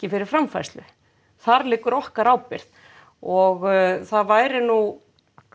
fyrir framfærslu þar liggur okkar ábyrgð og það væri nú